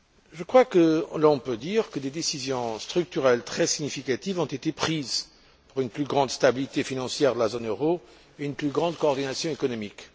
Je crois que l'on peut dire que des décisions structurelles très significatives ont été prises pour une plus grande stabilité financière de la zone euro et une plus grande coordination économique.